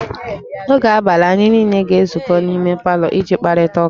N'oge abalị, anyị niile ga-ezukọ n'ime palọ iji kparịta ụka